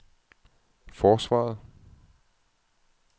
forsvaret